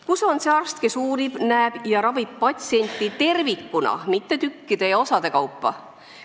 Kus on see arst, kes uurib, näeb ja ravib patsienti tervikuna, mitte tükkide ja osade kaupa?